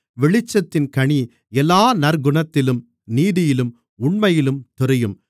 வெளிச்சத்தின் கனி எல்லா நற்குணத்திலும் நீதியிலும் உண்மையிலும் தெரியும்